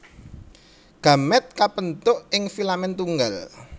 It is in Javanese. Gamèt kabentuk ing filamen tunggal